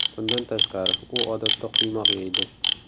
Bundan tashqari, u odatda quymoq yeydi.